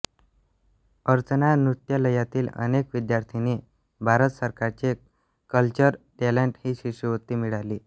अर्चना नृत्यालयातील अनेक विद्यार्थिनींना भारत सरकारची कल्चरल टॅलेंट ही शिष्यवृत्ती मिळाली